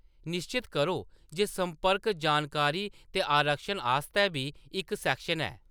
निश्चत करो जे संपर्क जानकारी ते आरक्षण आस्तै बी इक सैक्शन है।